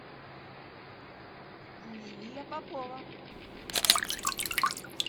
лилия попова